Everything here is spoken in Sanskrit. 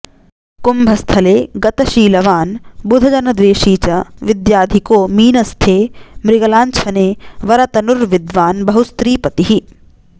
कुम्भस्थे गतशीलवान् बुधजनद्वेषी च विद्याधिको मीनस्थे मृगलाङ्छने वरतनुर्विद्वान् बहुस्त्रीपतिः